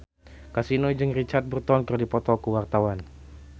Kasino jeung Richard Burton keur dipoto ku wartawan